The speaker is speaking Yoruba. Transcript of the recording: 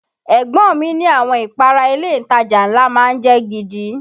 Ẹ̀gbọ́n mi ni àwọn ìpara ilé ìtajà ńlá má ń jẹ́ gidi